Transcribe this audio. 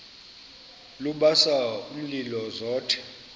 lubasa umlilo zothe